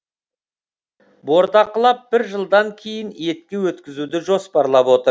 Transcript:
бордақылап бір жылдан кейін етке өткізуді жоспарлап отыр